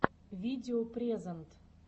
видео презент